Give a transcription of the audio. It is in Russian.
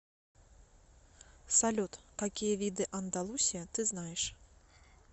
салют какие виды андалусия ты знаешь